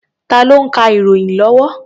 Tá ló ń ka ìròyìn lọ́wọ́?